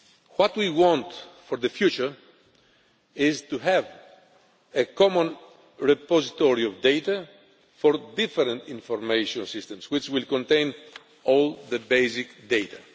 What we want for the future is to have a common repository of data for different information systems, which will contain all the basic data.